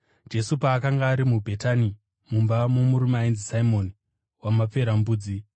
Jesu paakanga ari muBhetani mumba momurume ainzi Simoni waMaperembudzi,